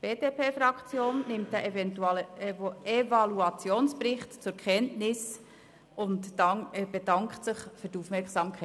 Die BDP-Fraktion nimmt diesen Evaluationsbericht zur Kenntnis und dankt für Ihre Aufmerksamkeit.